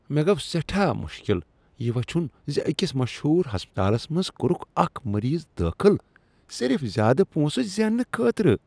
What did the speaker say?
مےٚ گوٚو سیٹھاہ مشکل یہ وٕچھُن ز أکس مشہور ہسپتالس منز کوٚرکھ اکھ مریض داخل صرف زیادٕ پونسہٕ زیننہٕ خٲطرٕ۔